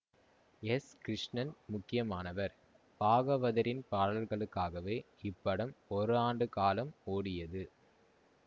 S Krishnan முக்கியமானவர் பாகவதரின் பாடல்களுக்காகவே இப்படம் ஒரு ஆண்டு காலம் ஓடியது